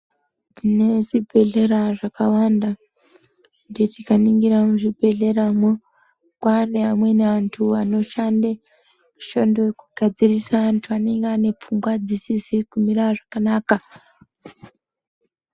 Muzvibhedhlera zvakawanda anditi tikaningira muzvibhedhleramwo kwane amweni antu anoshanda mishando yokugadzirisa antu anenge ane pfungwa dzisizi kumira zvakanaka.